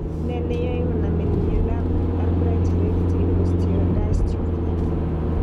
N e neyoe konamin miondap Albright's hereditary osteodystrophy?